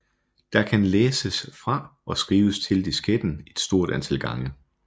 Der kan læses fra og skrives til disketten et stort antal gange